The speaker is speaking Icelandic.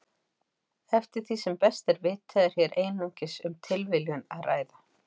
Eftir því sem best er vitað er hér einungis um tilviljun að ræða.